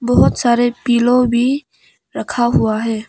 बहुत सारे पीलो भी रखा हुआ है।